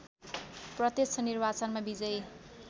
प्रत्यक्ष निर्वाचनमा विजयी